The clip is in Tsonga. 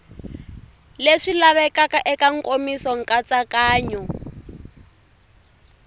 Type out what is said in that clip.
leswi lavekaka eka nkomiso nkatsakanyo